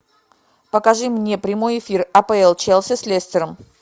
покажи мне прямой эфир апл челси с лестером